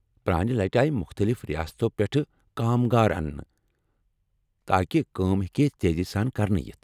پرانہِ لٹہ آیہ مختٔلف ریاستو پیٚٹھٕ كامگار اننہٕ تاکہ کٲم ہیكہِ تیزی سان كرنہٕ یِتھ ۔